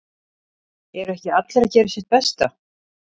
Eru ekki allir að gera sitt besta?